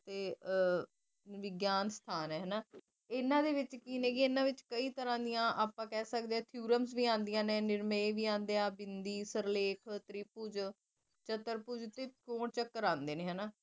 ਵਿਗਿਆਨ ਸਥਾਨ ਹਨਾ ਇਹਨਾ ਦੇ ਵਿੱਚ ਕੀ ਨੇ ਇਹਨਾ ਵਿੱਚ ਕਈ ਤਰਾਂ ਦੀਆਂ ਆਪਾ ਕਹਿ ਸਕਦੇ ਵੀ ਆ ਨਿਰਣੇ ਵੀ ਆਂਦੇ ਨੇ ਸਿਰਲੇਖ ਤਿਰਭੁਜ ਚਤਰਭੁਜ ਦੇ ਤ੍ਰਿਕੋਣ ਚਤਰਭੁਜ ਆਂਦੇ ਨੇ ਹਨਾ